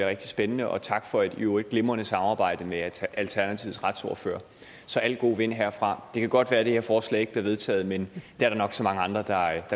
rigtig spændende og tak for et i øvrigt glimrende samarbejde med alternativets retsordfører så alle gode vinde herfra det kan godt være at det her forslag ikke bliver vedtaget men det er der nok så mange andre der